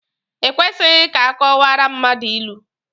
E kwesịghị ka akọwaara mmadụ ilu.